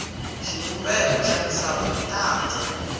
xivumbeko xa misava i tanda